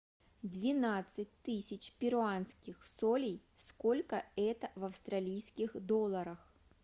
двенадцать тысяч перуанских солей сколько это в австралийских долларах